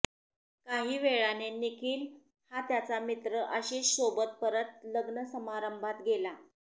काही वेळाने निखिल हा त्याचा मित्र आशिषसोबत परत लग्न समारंभात गेला